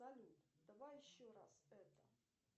салют давай еще раз это